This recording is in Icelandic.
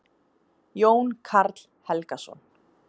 Jón Karl Helgason.